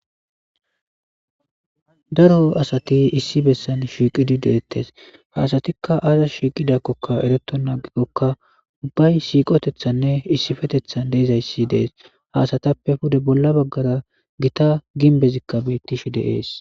daro asati issi bessan shiiqidi deettes haasatikka aaza shiiqidakkokka eretonaagikokka ubbay siiqotethanne issifetethan deezayssi dees haasatappe pude bolla baggara gita ginbezikka beyttish deees